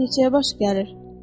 Neçəyə baş gəlir?